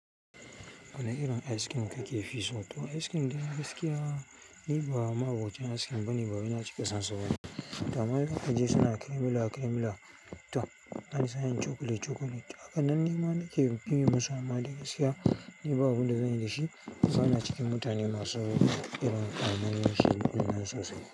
Wane irin ice cream kake fi so? To ice cream dai gaskiya ni ba ma'abocin ice cream bane ban cika son shi ba gaskiya. Kamar suka je suna cremila cremila. To, wani sa'in chocolate chocolate. Haka nan ne ma nake biye musu amma dai gaskiya, ni babu abin da zanyi da shi. Ban zauna cikin mutane masu irin ƙaunar shi sosai.